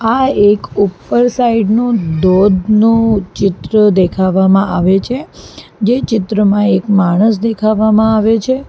આ એક ઉપર સાઈડ નો દોધનો ચિત્ર દેખાવામાં આવે છે જે ચિત્રમાં એક માણસ દેખાવામાં આવે છે.